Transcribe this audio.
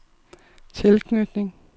tilknytning